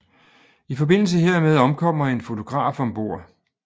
I forbindelse hermed omkommer en fotograf om bord